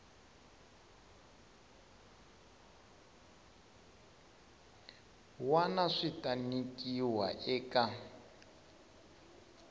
wana swi ta nyikiwa eka